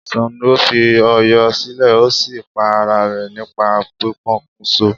Sàngó fi Ọ̀yọ́ silè o sí pa ara rẹ̀ nípa pipokùnso